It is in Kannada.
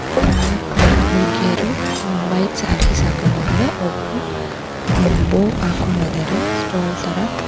ನಾಲಕ್ ಜನ ಹುಡುಗೀರು ಅ ವೈಟ್ ಸ್ಯಾರಿಸ್ ಹಾಕೊಂಡಿದ್ದಾರೆ ಒಬ್ರು ಅ ಬೊಕ್ ಹಾಕೊಂಡಿದ್ದಾರೆ ಸ್ಟೋನ್ ತರ.